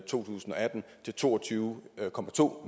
tusind og atten til to og tyve